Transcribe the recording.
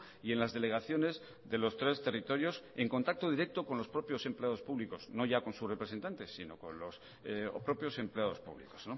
y en las delegaciones de los tres territorios y en contacto directo con los propios empleados públicos no ya con sus representantes sino con los propios empleados públicos